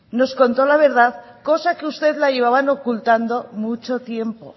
nos contó la verdad cosa que usted la llevaban ocultando mucho tiempo